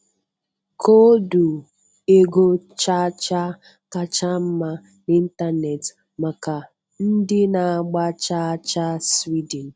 Koodu ego cha cha kacha mma n'ịntanetị maka ndị na-agba chaa chaa Sweden.